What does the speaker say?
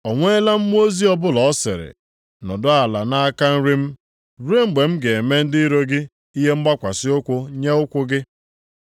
O nweela mmụọ ozi ọbụla ọ sịrị, “Nọdụ ala nʼaka nri m ruo mgbe m ga-eme ndị iro gị ihe mgbakwasị ụkwụ nye ụkwụ gị” + 1:13 \+xt Abụ 110:1\+xt*?